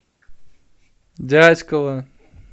дятьково